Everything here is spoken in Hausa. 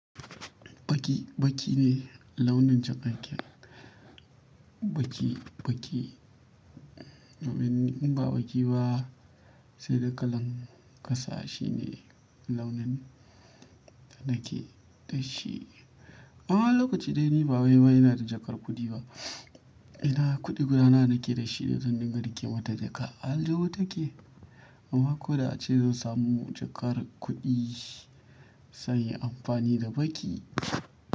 Baƙi, baƙi ne launin jakaken. Baƙi, baƙi domin ni in ba baƙi ba sai da kalan ƙasa shine launin da nake da shi. Amma wani lokaci dai ni ba wai wai ina da jakar kuɗi ba. Ina kuɗi guda nawa nake da shi da zan dinga riƙe mata jaka. A aljihu take? Amma ko da a ce zan samu jakar kuɗi zan yi amfani da baƙi.